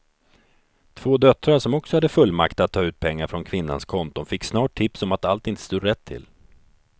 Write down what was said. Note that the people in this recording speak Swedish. Två döttrar som också hade fullmakt att ta ut pengar från kvinnans konton fick snart tips om att allt inte stod rätt till.